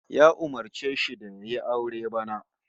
Ya umurce shi da yayi aure bana